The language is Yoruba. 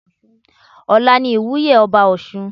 Ọla ni ìwúye ọba ọ̀ṣun.